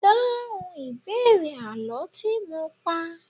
Dáhùn ìbéèrè àlọ́ tí mo pá!